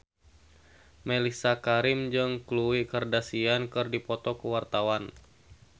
Mellisa Karim jeung Khloe Kardashian keur dipoto ku wartawan